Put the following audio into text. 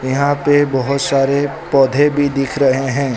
यहां पे बहोत सारे पौधे भी दिख रहे है।